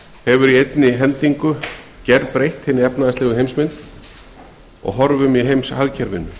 hefur hins vegar í einni hendingu gerbreytt hinni efnahagslegu heimsmynd og horfum í heimshagkerfinu